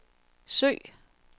søg